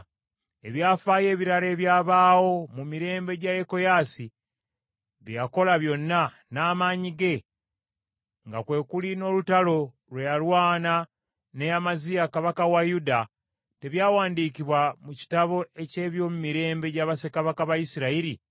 Ebyafaayo ebirala ebyabaawo mu mirembe gya Yekoyaasi, bye yakola byonna, n’amaanyi ge, nga kwe kuli n’olutalo lwe yalwana ne Amaziya kabaka wa Yuda, tebyawandiikibwa mu kitabo eky’ebyomumirembe gya bassekabaka ba Isirayiri?